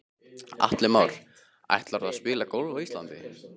Atli Már: Ætlarðu að spila golf á Íslandi?